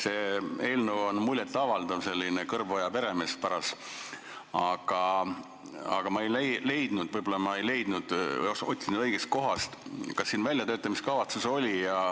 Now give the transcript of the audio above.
See eelnõu on muljet avaldav, selline paras "Kõrboja peremees", aga ma ei leidnud – võib-olla ma ei otsinud õigest kohast –, kas tal väljatöötamiskavatsus oli.